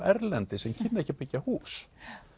erlendis sem kynnu ekki að byggja hús